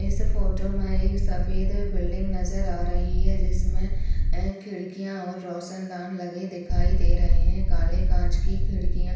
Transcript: इस फोटो मे एक सफेद बिल्डिंग नजर आ रही है जिसमे ए खिड़किया और रोशनदान लगे दिखाई दे रहे है काले कांच की खिड़किया --